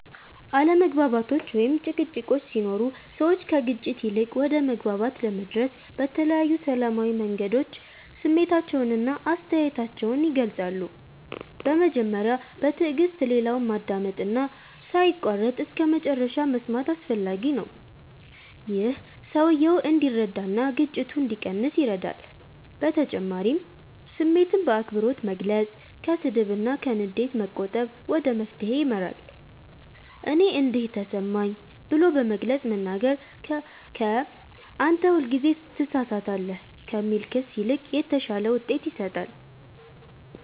አለመግባባቶች ወይም ጭቅጭቆች ሲኖሩ ሰዎች ከግጭት ይልቅ ወደ መግባባት ለመድረስ በተለያዩ ሰላማዊ መንገዶች ስሜታቸውን እና አስተያየታቸውን ይገልጻሉ። በመጀመሪያ በትዕግስት ሌላውን ማዳመጥ እና ሳይቋረጥ እስከመጨረሻ መስማት አስፈላጊ ነው። ይህ ሰውየው እንዲረዳ እና ግጭቱ እንዲቀንስ ይረዳል በተጨማሪም ስሜትን በአክብሮት መግለጽ፣ ከስድብ እና ከንዴት መቆጠብ ወደ መፍትሄ ይመራል። “እኔ እንዲህ ተሰማኝ” ብሎ በግልጽ መናገር ከ “አንተ ሁልጊዜ ትሳሳታለህ” ከሚል ክስ ይልቅ የተሻለ ውጤት ይሰጣል።